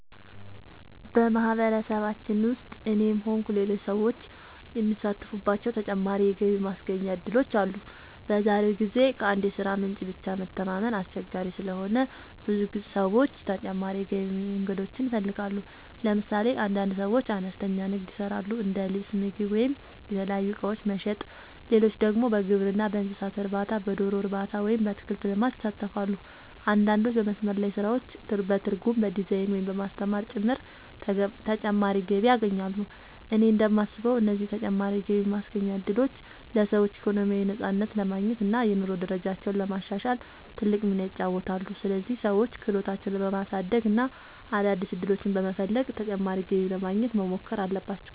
በማህበረሰባችን ውስጥ እኔም ሆንኩ ሌሎች ሰዎች የሚሳተፉባቸው ተጨማሪ የገቢ ማስገኛ እድሎች አሉ። በዛሬው ጊዜ ከአንድ የሥራ ምንጭ ብቻ መተማመን አስቸጋሪ ስለሆነ ብዙ ሰዎች ተጨማሪ የገቢ መንገዶችን ይፈልጋሉ። ለምሳሌ አንዳንድ ሰዎች አነስተኛ ንግድ ይሰራሉ፤ እንደ ልብስ፣ ምግብ ወይም የተለያዩ እቃዎች መሸጥ። ሌሎች ደግሞ በግብርና፣ በእንስሳት እርባታ፣ በዶሮ እርባታ ወይም በአትክልት ልማት ይሳተፋሉ። አንዳንዶች በመስመር ላይ ስራዎች፣ በትርጉም፣ በዲዛይን፣ ወይም በማስተማር ጭምር ተጨማሪ ገቢ ያገኛሉ። እኔ እንደማስበው እነዚህ ተጨማሪ የገቢ ማስገኛ እድሎች ለሰዎች ኢኮኖሚያዊ ነፃነት ለማግኘት እና የኑሮ ደረጃቸውን ለማሻሻል ትልቅ ሚና ይጫወታሉ። ስለዚህ ሰዎች ክህሎታቸውን በማሳደግ እና አዳዲስ ዕድሎችን በመፈለግ ተጨማሪ ገቢ ለማግኘት መሞከር አለባቸው።